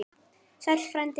Sæll frændi!